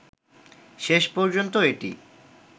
শেষ পর্যন্ত এটি